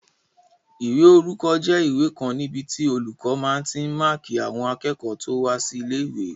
Ìwé orúkọ jẹ́ ìwé kan níbi tí olùkọ́ máa tí n máàkí àwọn akẹ́kọ̀ọ́ tó wá sí ilé-ìwé